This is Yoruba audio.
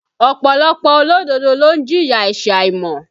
Ọ̀pọ̀lọpọ̀ olódodo ló ń jìyà ẹ̀sẹ̀ àìmọ̀